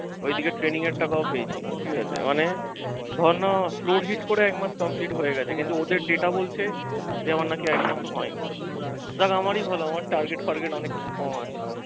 ঐদিকে training এর টাকা ও পেয়েছি ঠিকাছে মানে ধরনা flow heat করে একমাস complete হয়ে গেছে কিন্তু ওদের data বলছে যে আমার নাকি একমাস ও হয়নি। যাক আমার ই ভালো আমার target ফারগেত অনেক কিছু কম আছে।